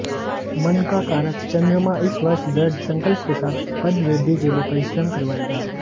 मन का कारक चन्द्रमा इस वर्ष दृढ़ संकल्प के साथ पदवृद्धि के लिए परिश्रम करवाएगा